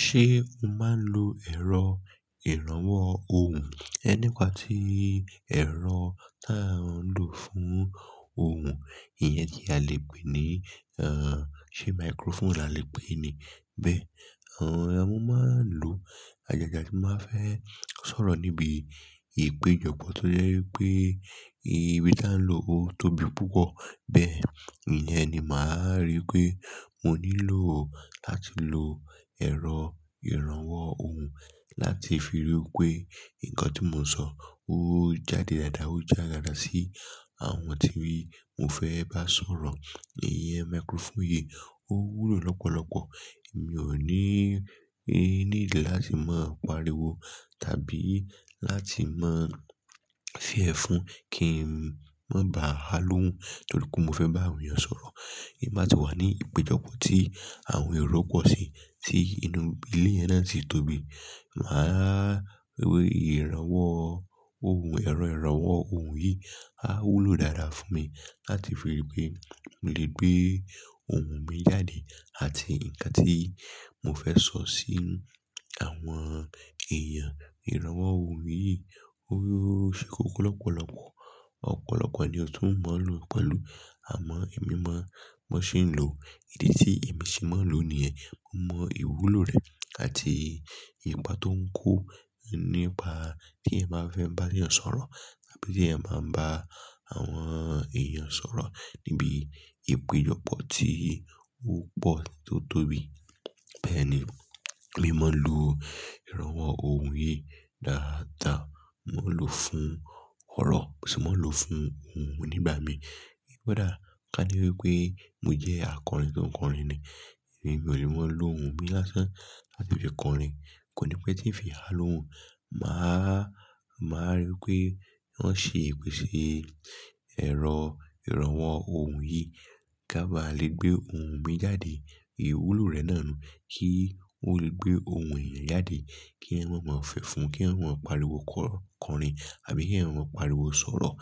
Ṣé o máa ń lo ẹ̀rọ ìrànwọ́ ohùn? Ẹ nípa tí ẹ̀rọ tá a ń lò fún ohùn, ìyẹn tí a lè pè ní, ẹ́ n, ṣe microphone la lè pè ní bẹ́ẹ̀. Àwọn ọmọ máa ń lò á jagadjaga tí wọ́n máa fẹ́ sọ̀rọ̀ níbi ìpéjọpọ̀ tó jẹ́ wípé ibi tí a ń lò ó tóbi púpọ̀. Bẹ́ẹ̀, ìyẹn ni màá rí pé mo nílò ó láti lo ẹ̀rọ ìrànwọ́ ohùn láti fi rí wípé nǹkan tí mo ń sọ ó jáde dáadáa, ó jẹ́ agbára sí àwọn tí mo fẹ́ bá sọ̀rọ̀. Ìyẹn microphone yìí ó wúlò lọ́pọ̀lọpọ̀. Èmi ò ní, ẹ́, ní ìdí láti máa pariwo tàbí láti máa fì ẹ́ fún kí n má ba há lóhùn nítorí pé mo fẹ́ bá èèyàn sọ̀rọ̀. Kí n má tí wá ní ìpéjọpọ̀ tí àwọn èrò pọ̀ sí tí inú ilé ẹ náà sì tóbi, màá rí pé ìrànwọ́ ohùn, ẹ̀rọ ìrànwọ́ ohùn yìí á wúlò dáadáa fún mi láti fi rí pé lè gbé ohùn mi jáde àti ǹkan tí mo fẹ́ sọ sí àwọn èèyàn. Ìrànwọ́ ohùn yìí ó ṣe kókó lọ́pọ̀lọpọ̀. Ọ̀pọ̀lọpọ̀ ènìyàn tó máa ń lò pẹ̀lú, àmọ́ èmi má, mo sì ń lò ó. Ìdí tí èmi sì máa ń lò níyẹn, mo mọ ìwúlò rẹ̀ àti ìgbà tó ń kó nípa tí ẹ máa fẹ́ bá èèyàn sọ̀rọ̀ tàbí tí ẹ máa bá àwọn èèyàn sọ̀rọ̀ níbi ìpéjọpọ̀ tí ó pọ̀ tó tóbi. Bẹ́ẹ̀ ni, èmi máa ń lo ìrànwọ́ ohùn yìí dáadáa. Mo lò ó fún ọ̀rọ̀ sì máa ń lò ó fún ohùn mi nígbà mi. Kí ó dára ká ní wípé mo jẹ́ akọrin tó ń kọrin ni, èmi ò lè máa lo ohùn mi lásán láti fi kọrin. Kò ní pẹ́ tí ì fi há lóhùn. Mà á, mà á rí pé wọ́n ṣe ìpèsè ẹ̀rọ ìrànwọ́ ohùn yìí ká ba lè gbé ohùn mi jáde. Ìwúlò rẹ̀ náà ni kí ó le gbé ohùn èèyàn jáde kí ẹ má máa fẹ̀ fún, kí ẹ má pariwo kọ́rin àbí kí ẹ máa pariwo sọ̀rọ̀.